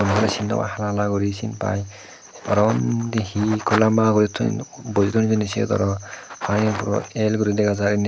muono sin nopai hala hala guri sinpai oro undi he ikko lamba guri toyon boje toyon he siyot aro panigen puro el guri dega jai indi.